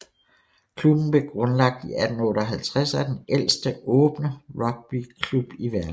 Klubben blev grundlagt i 1858 og er den ældste åbne rugbyklub i verden